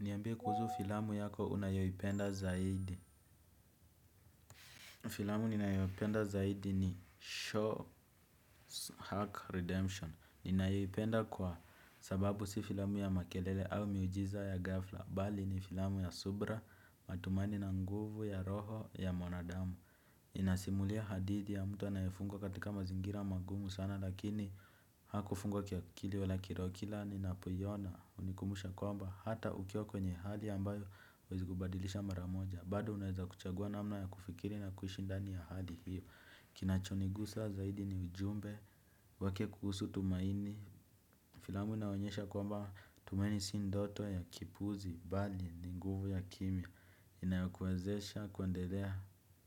Niambie kuhusu filamu yako unayoipenda zaidi. Filamu ninayoipenda zaidi ni show hack redemption ninaipenda kwa sababu si filamu ya makelele au miujiza ya ghafla bali ni filamu ya subira matumani na nguvu ya roho ya mwanadamu. Inasimulia hadithi ya mtu anayefungwa katika mazingira magumu sana lakini hakufungwa kiakili wala kiroho kila ninapoiona hunikumusha kwamba hata ukiwa kwenye hali ambayo huezi kubadilisha mara moja bado unaeza kuchagua namna ya kufikiri na kuishi ndani ya hali hiyo. Kinachonigusa zaidi ni ujumbe wake kuhusu tumaini. Filamu inaonyesha kwamba tumaini si ndoto ya kipuzi bali ni nguvu ya kimya inayokuwezesha kuendelea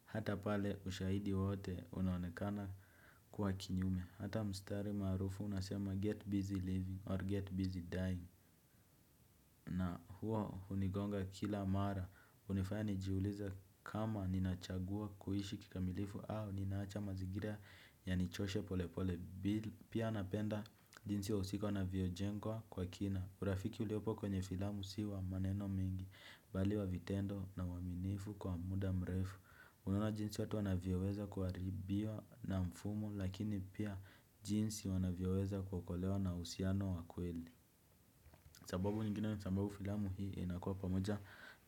hata pale ushahidi wote unaonekana kuwa kinyume. Hata mstari maarufu unasema get busy living or get busy dying na huo hunigonga kila mara hunifanya nijiulize kama ninachagua kuishi kikamilifu au ninaacha mazingira yanichoshe polepole bila. Pia napenda jinsi wahusika wanavyojengwa kwa kina. Urafiki uliopo kwenye filamu si wa maneno mengi bali wa vitendo na uaminifu kwa muda mrefu. Unaona jinsi watu wanavyoweza kuharibiwa na mfumo lakini pia jinsi wanavyoweza kuokolewa na uhusiano wa kweli. Sababu nyingine sababu filamu hii inakuwa pamoja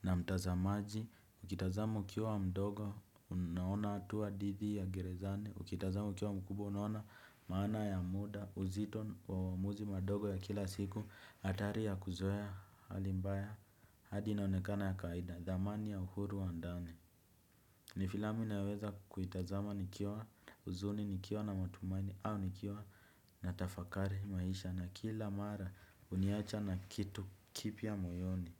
na mtazamaji. Ukitazama ukiwa mdogo unaona hatua dhidi ya gerezani. Ukitazama ukiwa mkubwa unaona maana ya muda uzito wa uamuzi madogo ya kila siku hatari ya kuzoea hali mbaya hadi inaonekana ya kawaida thamani ya uhuru wa ndani. Ni filamu inayoweza kuitazama nikiwa huzuni nikiwa na matumani au nikiwa natafakari maisha na kila mara huniacha na kitu kipya moyoni.